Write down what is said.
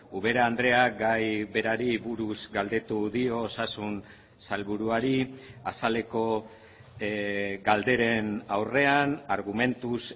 ubera andreak gai berari buruz galdetu dio osasun sailburuari azaleko galderen aurrean argumentuz